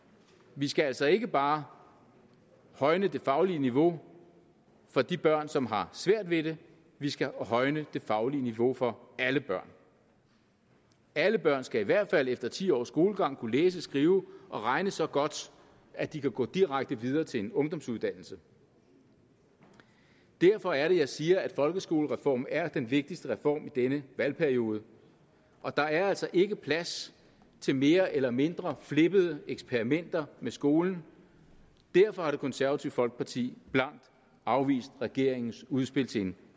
vi skal altså ikke bare højne det faglige niveau for de børn som har svært ved det vi skal højne det faglige niveau for alle børn alle børn skal i hvert fald efter ti års skolegang kunne læse skrive og regne så godt at de kan gå direkte videre til en ungdomsuddannelse derfor er det at jeg siger at folkeskolereformen er den vigtigste reform i denne valgperiode og der er altså ikke plads til mere eller mindre flippede eksperimenter med skolen derfor har det konservative folkeparti blankt afvist regeringens udspil til en